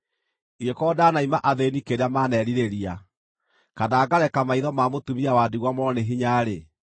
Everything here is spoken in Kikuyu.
“Ingĩkorwo ndanaima athĩĩni kĩrĩa maanerirĩria, kana ngareka maitho ma mũtũmia wa ndigwa morwo nĩ hinya-rĩ,